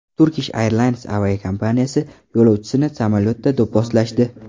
Turkish Airlines aviakompaniyasi yo‘lovchisini samolyotda do‘pposlashdi .